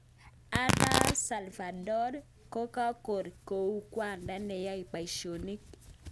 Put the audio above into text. Arap alvador kokaror kou kwanda neyae paishonik